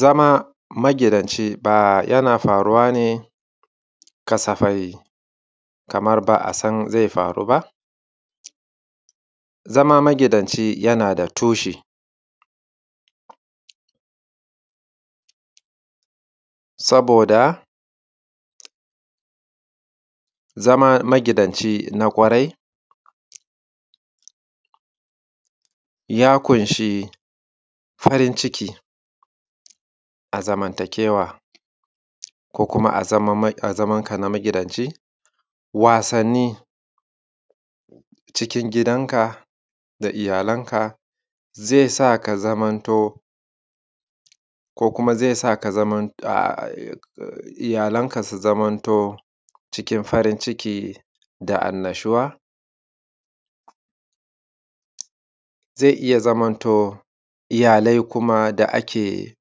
zama magidanci ba yana faruwa ne kasafai kamar ba a san zai faru ba zama magidanci yana da tushe saboda zama magidanci na ƙwarai ya ƙunshi farin ciki a zamantakewa ko kuma a zamanka na magidanci wasanni cikin gidanka da iyalanka zai sa ka zaman to ko kuma zai sa iyalanka su zaman to cikin farin ciki da annashuwa zai iya zamanto iyalai kuma da ake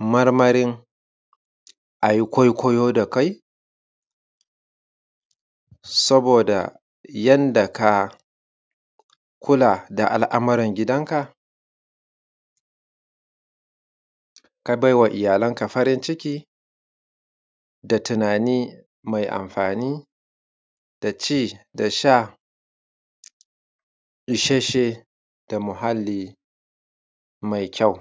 marmarin a yi kwaikwayo da kai saboda yanda ka kula da al’ammuran gidan ka ka baiwa iyalanka farin ciki da tunani mai amfani da ci da sha ishasshe da muhalli mai kyau